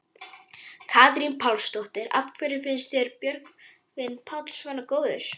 Katrín Pálsdóttir: Af hverju finnst þér Björgvin Páll svona góður?